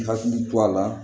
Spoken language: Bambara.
I hakili to a la